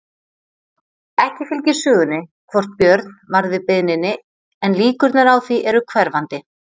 Ekki fylgir sögunni hvort Björn varð við beiðninni en líkurnar á því eru hverfandi.